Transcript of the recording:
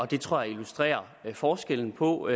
det tror jeg illustrerer forskellen på